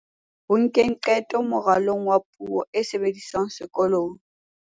Ho nkeng qeto moralong wa puo e sebediswang sekolong.